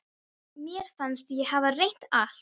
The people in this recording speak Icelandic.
Mér fannst ég hafa reynt allt.